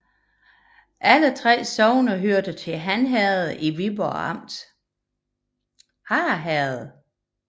Alle 3 sogne hørte til Harre Herred i Viborg Amt